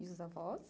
E os avós?